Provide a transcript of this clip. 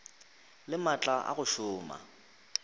le maatla a go šoma